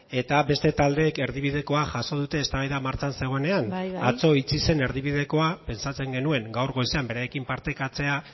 eta beste taldeek erdibidekoa jaso dute eztabaida martxan zegoenean bai bai atzo itxi zen erdibidekoa pentsatzen genuen gaur goizean beraiekin partekatzea